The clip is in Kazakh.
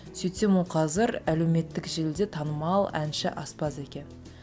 сөйтсем ол қазір әлеуметтік желіде танымал әнші аспаз екен